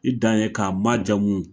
I dan ye k'a ma jamu